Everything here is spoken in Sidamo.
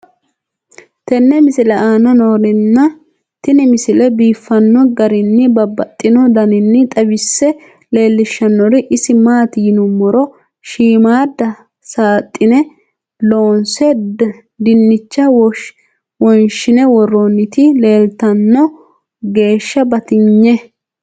tenne misile aana noorina tini misile biiffanno garinni babaxxinno daniinni xawisse leelishanori isi maati yinummoro shiimmadda saaxine loonse dinicha wonshinne woroonnitti leelittanno geesha batinye